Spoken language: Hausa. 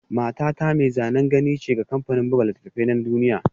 Matata mai zanen gani ce ga kamfanin buga littattafai na duniya